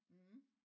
Mh